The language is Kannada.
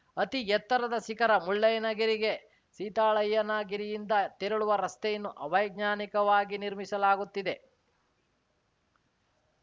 ಅತಿ ಎತ್ತರದ ಶಿಖರ ಮುಳ್ಳಯ್ಯನಗಿರಿಗೆ ಸೀತಾಳಯ್ಯನಗಿರಿಯಿಂದ ತೆರಳುವ ರಸ್ತೆಯನ್ನು ಅವೈಜ್ಞಾನಿಕವಾಗಿ ನಿರ್ಮಿಸಲಾಗುತ್ತಿದೆ